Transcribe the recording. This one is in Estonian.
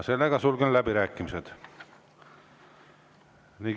Sulgen läbirääkimised.